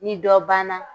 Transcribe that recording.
Ni dɔ banna